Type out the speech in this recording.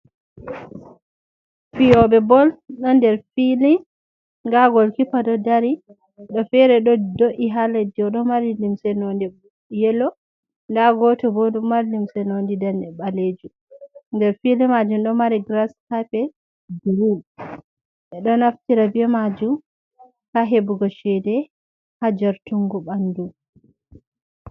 Fiyoɓe bol ɗo nder fili da gol kipa ɗo dari goɗɗo fere ɗo do’i ha leddi o ɗo mari limse nonde yelo da goto bo ɗo mari limse nonde danejum ɓalejum nder fili majum ɗo mari gras kapet girin ɓe ɗo naftira be majum ha hebugo cede ha jartungu bandu.